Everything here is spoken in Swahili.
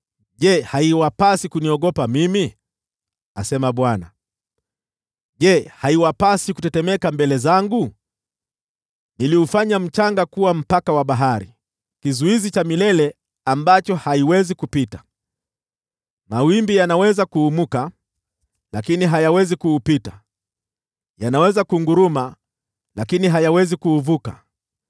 Je, haiwapasi kuniogopa mimi?” asema Bwana . “Je, haiwapasi kutetemeka mbele zangu? Niliufanya mchanga kuwa mpaka wa bahari, kizuizi cha milele ambacho haiwezi kupita. Mawimbi yanaweza kuumuka, lakini hayawezi kuupita; yanaweza kunguruma, lakini hayawezi kuuvuka.